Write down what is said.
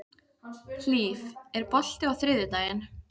Hlíf, er bolti á þriðjudaginn?